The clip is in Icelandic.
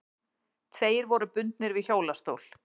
Tveir voru bundnir við hjólastól.